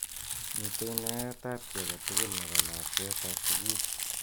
Mitei naet ab ki age tugul nebo lakwet ab sukul.